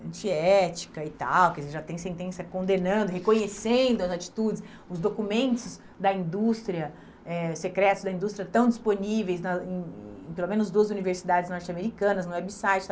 antiética e tal, quer dizer já tem sentença condenando, reconhecendo as atitudes, os documentos da indústria, eh secretos da indústria estão disponíveis na em pelo menos duas universidades norte-americanas, no website.